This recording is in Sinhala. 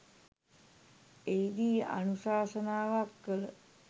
එහිදී අනුශාසනාවක් කළ